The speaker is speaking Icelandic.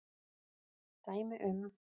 Dæmi um